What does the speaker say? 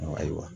Ayiwa